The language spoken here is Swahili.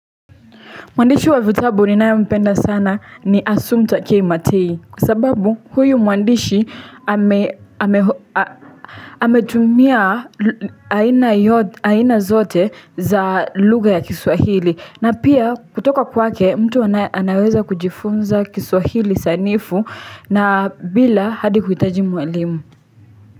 Mwandishi wa vitabu ninae mpenda sana ni Asumpta K Matei kwa sababu huyu mwandishi ametumia aina zote za lugha ya kiswahili na pia kutoka kwake mtu anaweza kujifunza kiswahili sanifu na bila hadi kuitaji mwalimu.